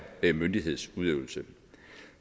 myndighedsudøvelse